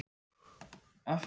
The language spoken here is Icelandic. Sæbjörn